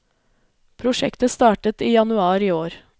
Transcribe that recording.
Prosjektet startet i januar i år.